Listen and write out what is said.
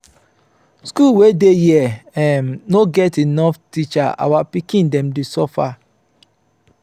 school wey dey here um no get enough teacher our pikin dem dey suffer.